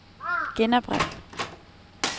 genopret